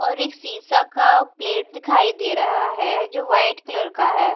और एक शीशा का प्लेट दिखाई दे रहा है जो वाइट कलर का है।